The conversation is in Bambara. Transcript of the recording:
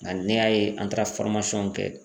Nka n'i y'a ye an taara kɛ